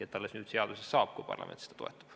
Alles nüüd see seadusesse saab, kui parlament seda toetab.